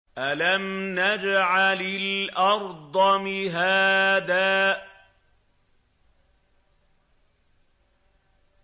أَلَمْ نَجْعَلِ الْأَرْضَ مِهَادًا